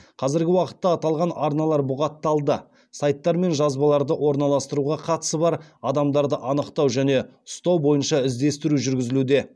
қазіргі уақытта аталған арналар бұғатталды сайттар мен жазбаларды орналастыруға қатысы бар адамдарды анықтау және ұстау бойынша іздестіру жүргізілуде